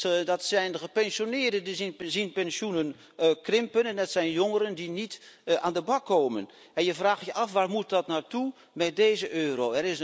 Dat zijn de gepensioneerden die hun pensioenen zien krimpen en dat zijn jongeren die niet aan de bak komen en je vraagt je af waar moet dat naar toe met deze euro?